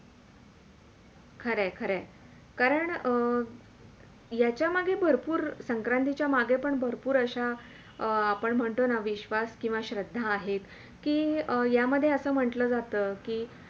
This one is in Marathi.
खरंय -खरंय कारण याच्या मागे भरपूर संक्रातीच्या मागे पण भरपूर अश्या आपण म्हणतो ना विश्वास किंवा श्रद्धा आहेत कि यामध्ये असे म्हटलं जाते कि